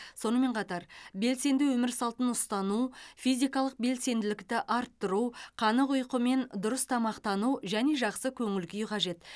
сонымен қатар белсенді өмір салтын ұстану физикалық белсенділікті арттыру қанық ұйқы мен дұрыс тамақтану және жақсы көңіл күй қажет